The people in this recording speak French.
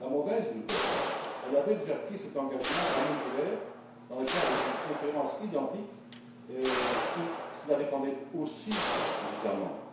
La mauvaise nouvelle elle avait déjà pris cet engagement à Monterrey, dans le cadre d'une conférence identique, où le calendrier dépendait aussi des États membres.